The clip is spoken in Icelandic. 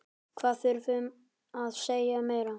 Hvað þarftu að segja meira?